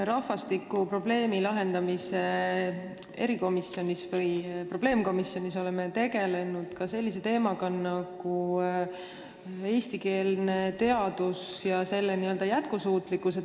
Rahvastikukriisi lahendamise probleemkomisjonis me oleme tegelenud ka sellise teemaga nagu eestikeelne teadus ja selle jätkusuutlikkus.